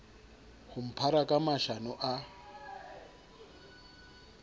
ho mphara ka mashano a